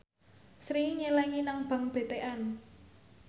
Sri nyelengi nang bank BTN